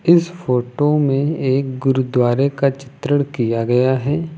इस फोटो में एक गुरुद्वारे का चित्रण किया गया है।